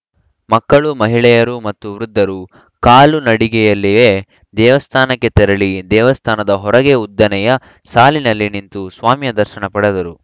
ಮಕ್ಕಳು ಮಹಿಳೆಯರು ಮತ್ತು ವೃದ್ಧರು ಕಾಲು ನಡಿಗೆಯಲ್ಲಿಯೇ ದೇವಸ್ಥಾನಕ್ಕೆ ತೆರಳಿ ದೇವಸ್ಥಾನದ ಹೊರೆಗೆ ಉದ್ದನೆಯ ಸಾಲಿನಲ್ಲಿ ನಿಂತು ಸ್ವಾಮಿಯ ದರ್ಶನ ಪಡೆದರು